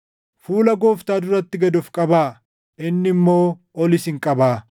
Fuula Gooftaa duratti gad of qabaa; inni immoo ol isin qabaa.